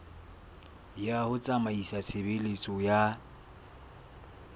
ya ho tsamaisa tshebeletso ya